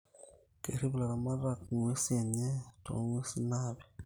Kerip laramatak inguesin enye too nguesin napiii